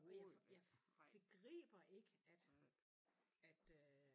Og jeg jeg begriber ikke at at øh